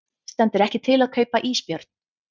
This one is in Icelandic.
Stendur ekki til að kaupa ísbjörn